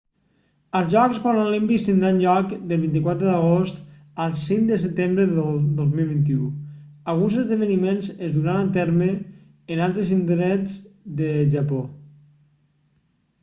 els jocs paralímpics tindran lloc del 24 d'agost al 5 de setembre del 2021 alguns esdeveniments es duran a terme en altres indrets del japó